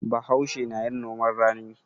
Bahaushe na yin noman rani.